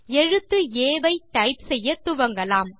எழுத்து ஆ ஐ டைப் செய்யத்துவங்கலாம்